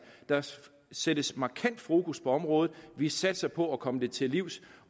der sættes markant fokus på området vi satser på at komme det til livs